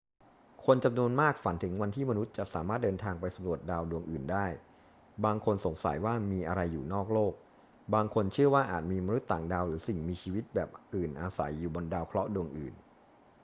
คนจำนวนมากฝันถึงวันที่มนุษย์จะสามารถเดินทางไปสำรวจดาวดวงอื่นได้ บางคนสงสัยว่ามีอะไรอยู่นอกโลก บางคนเชื่อว่าอาจมีมนุษย์ต่างดาวหรือสิ่งมีชีวิตแบบอื่นอาศัยอยู่บนดาวเคราะห์ดวงอื่น